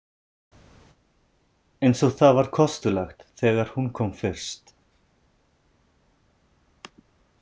Eins og það var kostulegt þegar hún kom fyrst.